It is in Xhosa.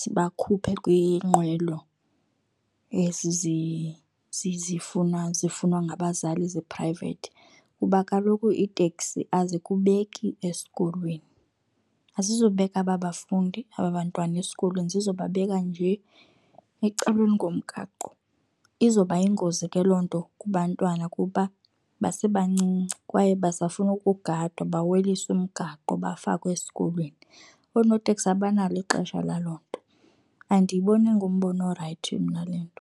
zibakhuphe kwiinqwelo ezi zifunwa ngabazali zi-private. Kuba kaloku iiteksi azikubeki esikolweni. Azizobeka aba bafundi, aba bantwana esikolweni, zizobabeka nje ecaleni komgaqo. Izoba yingozi ke loo nto kubantwana kuba basebancinci, kwaye basafuna ukugadwa baweliswe umgaqo, bafakwe esikolweni. Oonoteksi abanalo ixesha laloo nto. Andiyiboni ingumbono orayithi mna le nto.